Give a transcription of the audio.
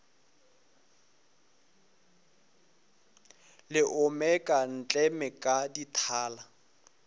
le omeka ntleme ka dithala